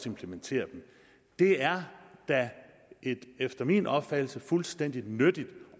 implementere dem det er da efter min opfattelse et fuldstændig vigtigt